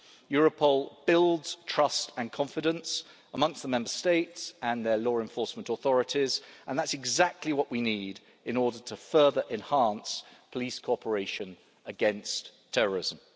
Europol builds trust and confidence among the Member States and their law enforcement authorities, and that's exactly what we need in order further to enhance police cooperation against terrorism.